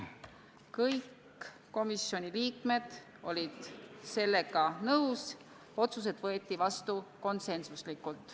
Kõik komisjoni liikmed olid sellega nõus, otsused võeti vastu konsensuslikult.